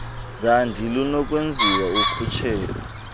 zandi lunokwenziwa ukhutshelo